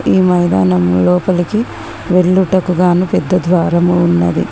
ఈ మైదానం లోపలికి వెళ్ళుటకు గాను పెద్ద ద్వారము ఉన్నది.